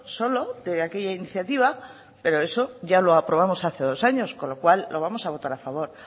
solo de aquella iniciativa pero eso ya lo aprobamos hace dos años con lo cual lo vamos a votar a favor